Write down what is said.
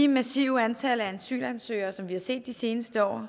massive antal asylansøgere som vi har set de seneste år